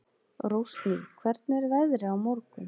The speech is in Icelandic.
Rósný, hvernig er veðrið á morgun?